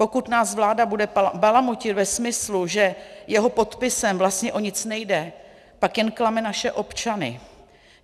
Pokud nás vláda bude balamutit ve smyslu, že jeho podpisem vlastně o nic nejde, pak jen klame naše občany.